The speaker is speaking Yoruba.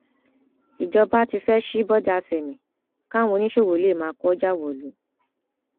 ìjọba ti fẹẹ sí bọdà sámé káwọn oníṣòwò lè máa kó ọjà wọlú